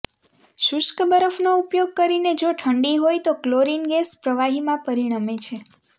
શુષ્ક બરફનો ઉપયોગ કરીને જો ઠંડી હોય તો ક્લોરિન ગેસ પ્રવાહીમાં પરિણમે છે